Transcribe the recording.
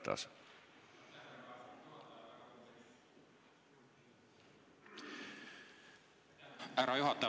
Härra juhataja!